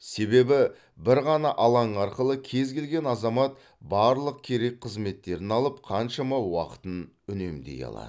себебі бір ғана алаң арқылы кез келген азамат барлық керек қызметтерін алып қаншама уақытын үнемдей алады